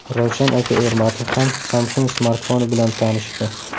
Ravshan aka Ermatov ham Samsung smartfoni bilan tanishdi.